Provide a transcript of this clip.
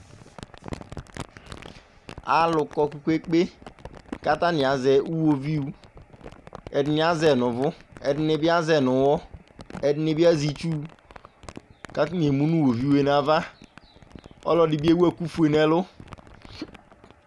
Alʋ kɔ kpe-kpe-kpe kʋ atanɩ azɛ uɣoviu Ɛdɩnɩ azɛ yɩ nʋ ʋvʋ, ɛdɩnɩ bɩ azɛ yɩ nʋ ʋɣɔ, ɛdɩnɩ bɩ azɛ itsu kʋ atanɩ emu nʋ uɣoviu yɛ nʋ ava Ɔlɔdɩ bɩ ewu ɛkʋfue nʋ ɛlʋ